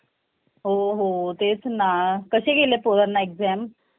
हो हो तेच ना कसे गेले पोरांला exam